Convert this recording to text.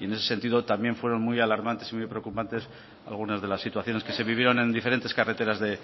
y en ese sentido también fueron muy alarmantes y muy preocupantes algunas de las situaciones que se vivieron en diferentes carreteras de